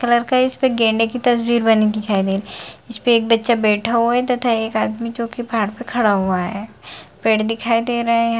Colour का गेंडे की तस्वीर बनी दिखाई दे रहा है इस पे एक बच्चा बैठा हुआ है तथा एक आदमी जो कि पाहाड़ पे खड़ा हुआ है पेड़ दिखाई दे रहे हैं।